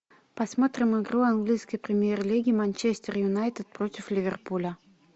посмотрим игру английской премьер лиги манчестер юнайтед против ливерпуля